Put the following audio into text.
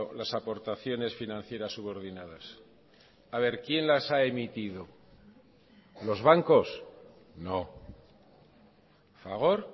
las aportaciones financieras subordinadas a ver quién las ha emitido los bancos no fagor